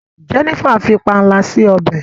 Jenifer fí panla si ọbẹ.